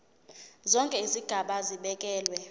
zonke izigaba zibekelwe